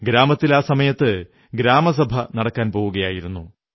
ഗ്രാമത്തിൽ ആ സമയം ഗ്രാമസഭ നടക്കാൻ പോകയായിരുന്നു